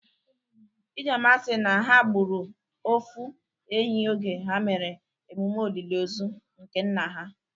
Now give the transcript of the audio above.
Ijeoma si na ha gbụrụ ofu ehi oge ha mere emume olili ozu nke nna ha.